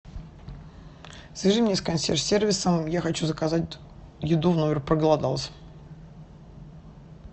свяжи меня с косьерж сервисом я хочу заказать еду в номер проголодался